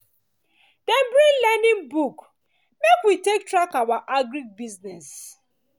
dem bring learning book make we take track our our agric business